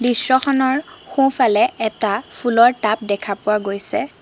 দৃশ্যখনৰ সোঁফালে এটা ফুলৰ টাব দেখা পোৱা গৈছে।